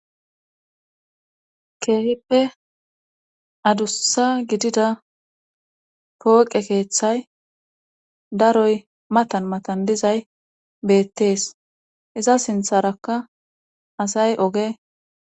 keehippe adussa gidida pooqe keeththay daroy matan matan dizay beettees iza sintharakka asay oge